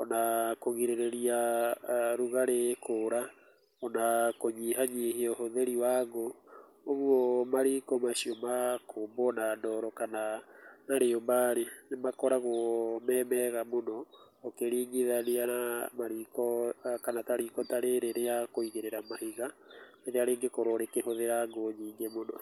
,ona kũgirĩrĩria rugarĩ kũũra, ona kũnyihanyihia ũhũthĩri wa ngũ, ũgwo mariko macio ma kũmbwo na ndoro kana na rĩũmba-rĩ, nĩmakoragwo me mega mũno ũkĩringithania na mariko kana ta riko ta rĩrĩ rĩa kũigĩrĩra mahiga, rĩrĩa rĩngĩkorwo rĩkĩhũthĩra ngũ nyingĩ mũno.